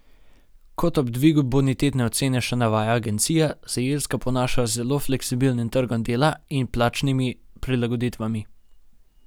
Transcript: Kot ob dvigu bonitetne ocene še navaja agencija, se Irska ponaša z zelo fleksibilnim trgom dela in plačnimi prilagoditvami.